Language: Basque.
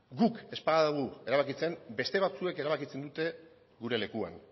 guk ez badugu erabakitzen beste batzuek erabakitzen dute gure lekuan